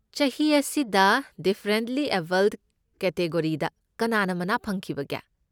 ꯆꯍꯤ ꯑꯁꯤꯗ ꯗꯤꯐꯔꯦꯟꯠꯂꯤ ꯑꯦꯕꯜꯗ ꯀꯦꯇꯤꯒꯣꯔꯤꯗ ꯀꯅꯥꯅ ꯃꯅꯥ ꯐꯪꯈꯤꯕꯒꯦ?